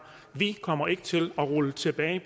vi kommer ikke til at rulle tilbage i